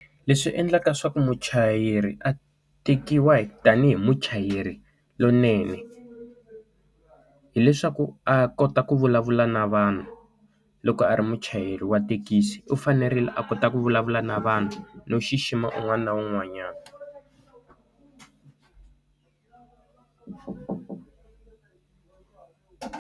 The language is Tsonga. Leswi endlaka leswaku muchayeri a tekiwa tanihi muchayeri lowunene, hileswaku a kota ku vulavula na vanhu loko a ri muchayeri wa thekisi. U fanerile a kota ku vulavula na vanhu no xixima un'wana na un'wanyana.